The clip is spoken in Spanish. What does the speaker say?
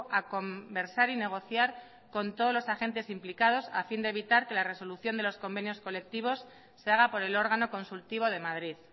a conversar y negociar con todos los agentes implicados a fin de evitar que la resolución de los convenios colectivos se haga por el órgano consultivo de madrid